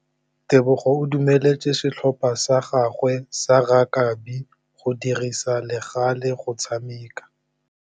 Tebogô o dumeletse setlhopha sa gagwe sa rakabi go dirisa le galê go tshameka.